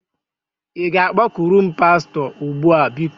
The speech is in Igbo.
Ị ga-akpọkuru m pastọ? Ugbu a, biko!